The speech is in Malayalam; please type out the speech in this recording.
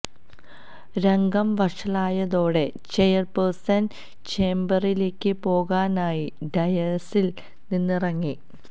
രംഗം വഷളായതോടെ ചെയർപേഴ്സൺ ചേംബറിലേക്ക് പോകാനായി ഡയസിൽ നിന്ന് ഇറങ്ങി